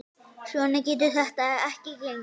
Svona getur þetta ekki gengið.